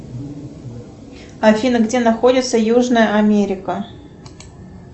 афина где находится южная америка